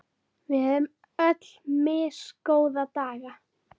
Við eigum öll misgóða daga.